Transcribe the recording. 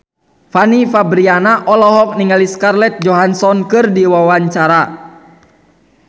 Fanny Fabriana olohok ningali Scarlett Johansson keur diwawancara